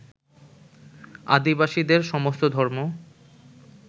আদিবাসীদের সমস্ত ধর্ম